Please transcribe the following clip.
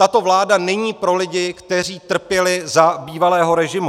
Tato vláda není pro lidi, kteří trpěli za bývalého režimu.